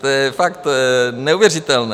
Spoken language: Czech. To je tak neuvěřitelné.